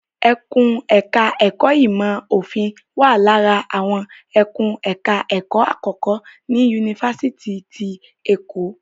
Ẹkùn ẹ̀ka ẹ̀kó ìmọ̀ òfin wà lára àwọn ẹkùn ẹ̀ka ẹ̀kó àkọ́kọ́ ní Yunifásitì ti Èkó.